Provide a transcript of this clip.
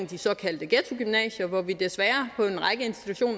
de såkaldte ghettogymnasier hvor vi desværre